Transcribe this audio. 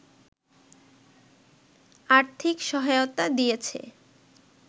আর্থিক সহায়তা দিয়েছে